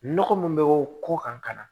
Nɔgɔ min bɛ bɔ kɔ kan ka na